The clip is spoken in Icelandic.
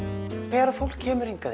þegar fólk kemur hingað